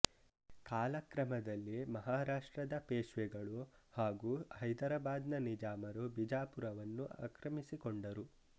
ಕಾಲಕ್ರಮದಲ್ಲಿ ಮಹಾರಾಷ್ಟ್ರದ ಪೇಷ್ವೆಗಳು ಹಾಗೂ ಹೈದರಾಬಾದ್ ನ ನಿಜಾಮರು ಬಿಜಾಪುರವನ್ನು ಆಕ್ರಮಿಸಿಕೊಂಡರು